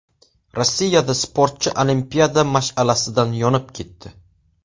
Rossiyada sportchi olimpiada mash’alasidan yonib ketdi.